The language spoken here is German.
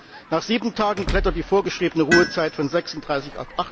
Siebtens Nach sieben Tagen klettert die vorgeschriebene Ruhezeit von 36